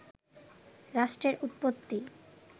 রাষ্ট্রের উৎপত্তি